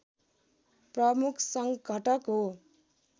प्रमुख सङ्घटक हो।